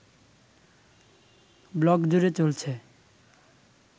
ব্লগজুড়ে চলছে